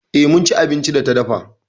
E, mun ci abincin da ta dafa.